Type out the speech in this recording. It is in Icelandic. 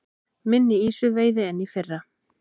Minni ýsuveiði en í fyrra